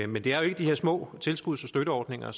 men det er jo ikke de her små tilskuds og støtteordninger